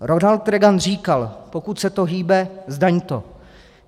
Ronald Reagan říkal: Pokud se to hýbe, zdaň to.